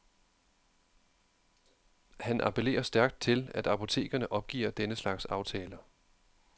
Han appellerer stærkt til, at apotekerne opgiver denne slags aftaler.